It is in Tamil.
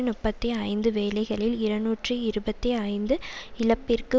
நுப்பத்தி ஐந்து வேலைகளில் இருநூற்றி இருபத்தி ஐந்து இழப்பிற்கு